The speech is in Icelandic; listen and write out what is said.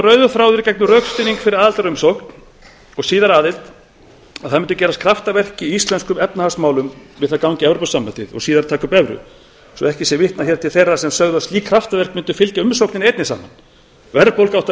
rauður þráður í gegnum rökstuðning fyrir aðildarumsókn og síðar aðild að það mundu gerast kraftaverk í íslenskum efnahagsmálum við það að ganga í e s b og síðar taka upp evru svo ekki sé vitnað hér til þeirra sem sögðu að slík kraftaverk mundu fylgja umsókninni einni saman verðbólga átti